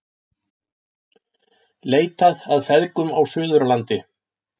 Leitað að feðgum á Suðurlandi